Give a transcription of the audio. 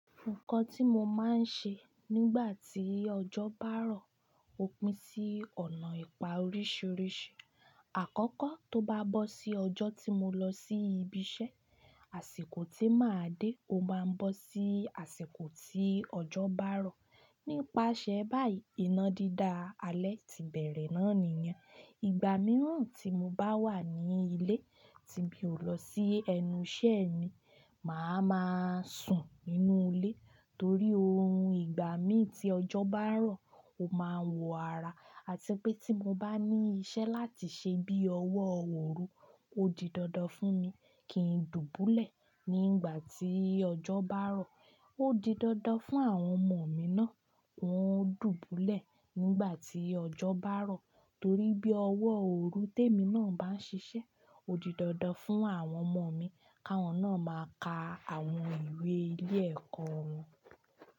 Nǹkan tí mo máa ń ṣe nígbà tí ọjọ́ bá rọ̀ ó pín sí ọ̀nà ìpa oríṣìíríṣìí. Àkọ́kọ́ tó bá bọ̀ sí ọjọ́ tí mo lọ sí ibi iṣẹ́, àsìkò tí màá dé ó máa ń bọ̀ sí àsìkò tí ọjọ́ bá rọ̀. Nípasẹ̀ báyìí iná dídá alẹ́ ti bẹ̀rẹ̀ náà nìyẹn. Ìgbà mìíràn tí mo bá wà ní ilé tí mi ò lọ sí ẹnu iṣẹ́ mi, màá ma sùn nínú ilé torí òórùn ìgbámí tí ọjọ́ bá rọ̀ ó máa ń wọ ara àti pé tí mo bá ní iṣẹ́ láti ṣe bí ọwọ́ òru, ó di dandan fún mi kí n dùbúlẹ̀ nígbà tí ọjọ́ bá rọ̀. Ó di dandan fún àwọn ọmọ mi náà hun o dùbúlẹ̀ nígbà tí ọjọ́ bá rọ̀ torí bí ọwọ́ òru tèmi náà bá ń ṣiṣẹ́ ó di dandan fún àwọn ọmọ mi káwọn náà máa ka àwọn ìwé ilé ẹ̀kọ́ wọn.